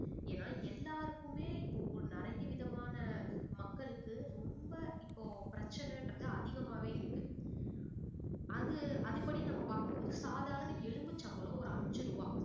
ஏன்னா எல்லாருக்குமே இப்போ ஓ~ நிறைய விதமான மக்களுக்கு ரொம்ப இப்போ பிரச்சனைன்றது அதிகமாவே இருக்கு அது அதுப்படி நம்ம பார்க்கும் போது சாதாரண எலும்புச்சம்பழம் ஒரு அஞ்சு ரூபாய்